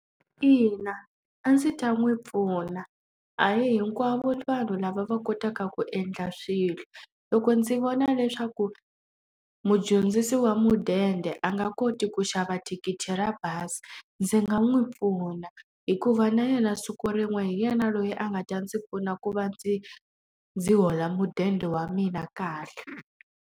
Ina, a ndzi ta n'wi pfuna. A hi hinkwavo vanhu lava va kotaka ku endla swilo. Loko ndzi vona leswaku mudyondzisi wa mudende a nga koti ku xava thikithi ra bazi, ndzi nga n'wi pfuna. Hikuva na yena siku rin'we hi yena loyi a nga ta ndzi pfuna ku va ndzi ndzi hola mudende wa mina kahle.